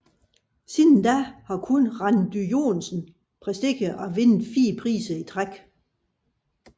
Siden da har kun Randy Johnson præsteret at vinde 4 priser i træk